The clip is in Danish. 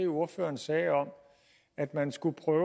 ordføreren sagde om at man skulle prøve